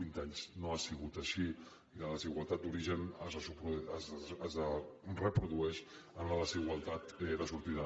vint anys no ha sigut així i la desigualtat d’origen es reprodueix en la desigualtat de sortida